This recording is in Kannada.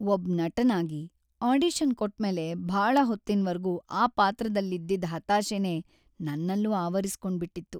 ಒಬ್ ನಟನಾಗಿ, ಆಡಿಷನ್ ಕೊಟ್ಮೇಲೆ ಭಾಳ ಹೊತ್ತಿನ್ವರ್ಗೂ ಆ ಪಾತ್ರದಲ್ಲಿದ್ದಿದ್ ಹತಾಶೆನೇ ನನ್ನಲ್ಲೂ ಆವರಿಸ್ಕೊಂಡ್ಬಿಟ್ಟಿತ್ತು.